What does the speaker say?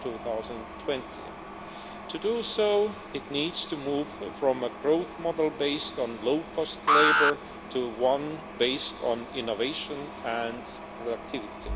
2020. To do so it needs to move from a growth model based on low-cost labour to one based on innovation and productivity.